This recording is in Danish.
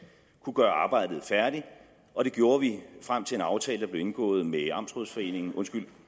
kunne gøre arbejdet færdigt og det gjorde vi frem til en aftale der blev indgået med amtsrådsforeningen undskyld